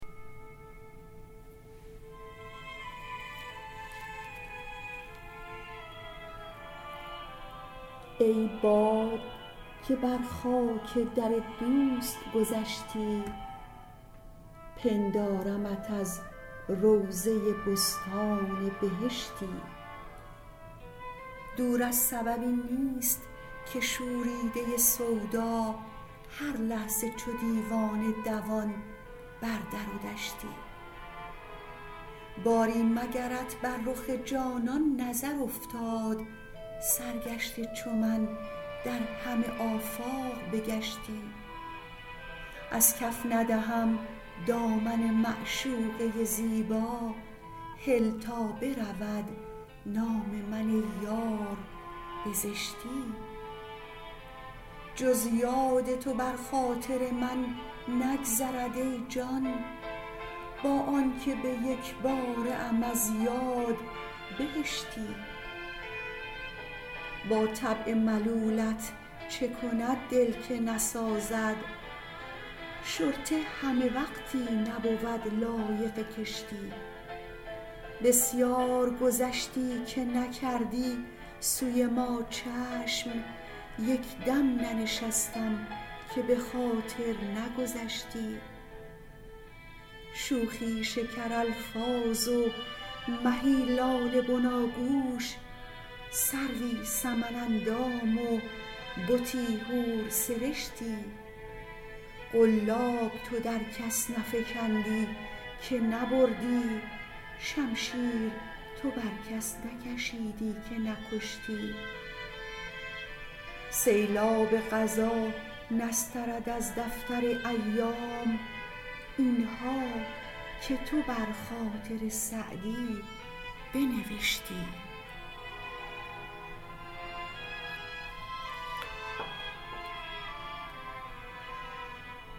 ای باد که بر خاک در دوست گذشتی پندارمت از روضه بستان بهشتی دور از سببی نیست که شوریده سودا هر لحظه چو دیوانه دوان بر در و دشتی باری مگرت بر رخ جانان نظر افتاد سرگشته چو من در همه آفاق بگشتی از کف ندهم دامن معشوقه زیبا هل تا برود نام من ای یار به زشتی جز یاد تو بر خاطر من نگذرد ای جان با آن که به یک باره ام از یاد بهشتی با طبع ملولت چه کند دل که نسازد شرطه همه وقتی نبود لایق کشتی بسیار گذشتی که نکردی سوی ما چشم یک دم ننشستم که به خاطر نگذشتی شوخی شکرالفاظ و مهی لاله بناگوش سروی سمن اندام و بتی حورسرشتی قلاب تو در کس نفکندی که نبردی شمشیر تو بر کس نکشیدی که نکشتی سیلاب قضا نسترد از دفتر ایام این ها که تو بر خاطر سعدی بنوشتی